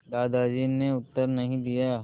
दादाजी ने उत्तर नहीं दिया